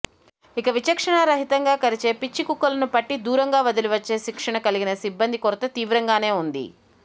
ఇక విచక్షణారహితంగా కరిచే పిచ్చికుక్కలను పట్టి దూరంగా వదిలివచ్చే శిక్షణకలిగిన సిబ్బంది కొరత తీవ్రంగానే ఉంది